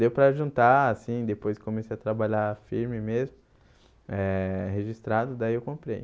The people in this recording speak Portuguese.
Deu para juntar assim, depois comecei a trabalhar firme mesmo eh, registrado, daí eu comprei.